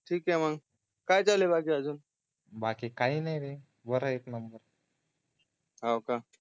ठीक आहे मग बाकी काय चालू अजून बाकी काही नाही रे बर एक नंबर